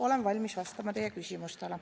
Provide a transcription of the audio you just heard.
Olen valmis vastama teie küsimustele.